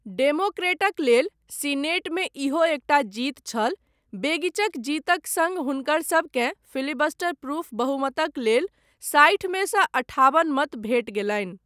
डेमोक्रेटक लेल सीनेटमे इहो एकटा जीत छल, बेगिचक जीतक सङ्ग हुनकर सबकेँ फिलिबस्टर प्रूफ बहुमतक लेल साठि मेसँ अठाबन मत भेटि गेलनि।